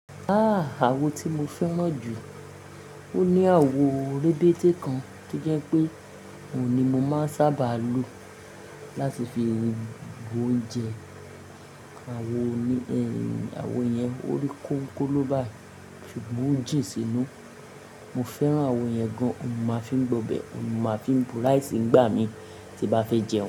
Ah! Awo ti mo fẹ́ràn jù, ó ní àwo rèbéte kan to jẹ́ pé òun ni mo máa ń sábà lo láti fi bu oúnjẹ. Awo òní, awo yẹn orí kónkoló báyi, ṣùgbọ́n o jìn sínú. Mo fẹ́ràn awo yẹn gan, òun ni máa fi ń gbọ̀bẹ̀, òun ni máa fi ń buraíìsì ń gbà mí tí bá fẹ́ jẹun.